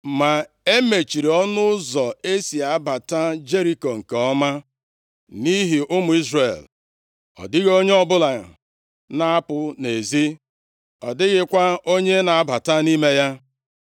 Ma e mechiri ọnụ ụzọ e si abata Jeriko nke ọma, nʼihi ụmụ Izrel. Ọ dịghị onye ọbụla na-apụ nʼezi, ọ dịghịkwa onye na-abata nʼime ya.